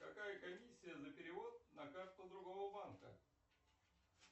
какая комиссия за перевод на карту другого банка